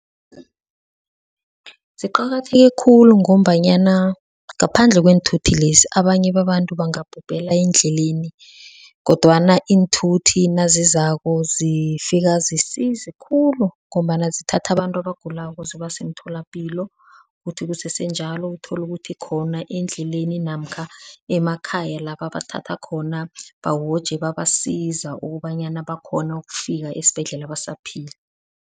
Ziqakatheke khulu ngombanyana ngaphandle kweenthuthi lezi abanye babantu bangabhubhela endleleni, kodwana iinthuthi nazizako zifika zisize khulu ngombana zithatha abantu abagulako zibase emitholapilo. Kuthi kusesenjalo, uthole ukuthi khona endleleni namkha emakhaya la ebabathatha khona bawoje babasiza ukobanyana bakhone ukufika esibhedlela basaphila.